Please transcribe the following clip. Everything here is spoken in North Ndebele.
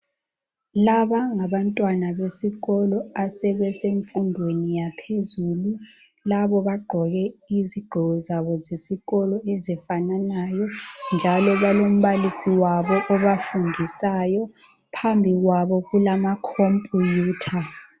Laba ngabantwana besikolo asebesemfundweni yaphezulu. Labo bagqoke izigqoko zabo zesikolo ezifananayo njalo balombalisi wabo obafundisayo phambikwabo kulama "Computer."